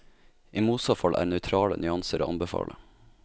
I motsatt fall er nøytrale nyanser å anbefale.